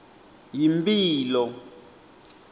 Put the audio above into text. yimphilo